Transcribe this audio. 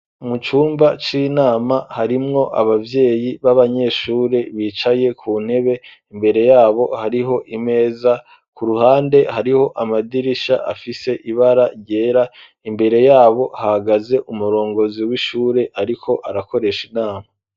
Mu cumba c'inama harimwo abavyeyi b'abanyeshure bicaye ku ntebe imbere yabo hariho imeza ku ruhande hariho amadirisha afise ibara ryera imbere yabo hagaze umurongozi w'ishure ariko arakoresha inama.